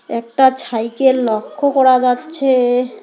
একটা ছাইকেল লক্ষ করা যাচ্ছে।